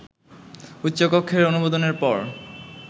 উচ্চকক্ষের অনুমোদনের পর